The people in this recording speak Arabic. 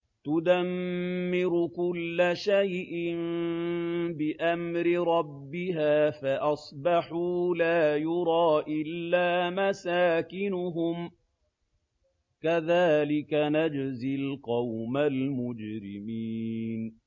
تُدَمِّرُ كُلَّ شَيْءٍ بِأَمْرِ رَبِّهَا فَأَصْبَحُوا لَا يُرَىٰ إِلَّا مَسَاكِنُهُمْ ۚ كَذَٰلِكَ نَجْزِي الْقَوْمَ الْمُجْرِمِينَ